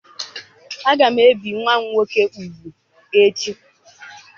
Aga m ebe nwa m nwoke ugwu echi.